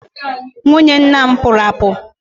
Nwunye nna m pụrụ apu.